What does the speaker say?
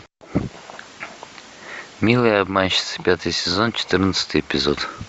милые обманщицы пятый сезон четырнадцатый эпизод